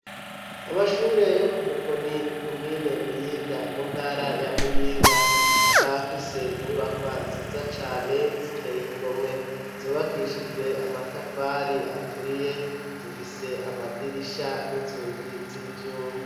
amashure yo ku Mukoni komine Muyinga mu ntara ya Muyinga, akaba afise inyubakwa nziza cane ziteye igomwe, zubakishijwe amatafari aturiye zifise amadirisha n'inzugi z'ivyuma.